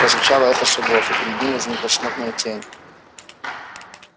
прозвучало эхо шагов и перед ним возникла смутная тень